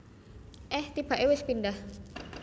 Eh tibake wis pindah